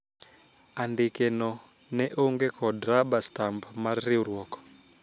andike no ne onge kod raba stamp mar riwruok